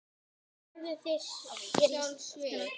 Björn: Borðið þið sjálf svið?